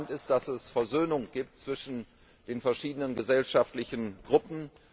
Entscheidend ist, dass es Versöhnung gibt zwischen den verschiedenen gesellschaftlichen Gruppen.